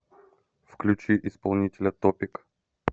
включи исполнителя топик